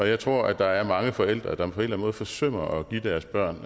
jeg tror at der er mange forældre der på en eller anden måde forsømmer at give deres børn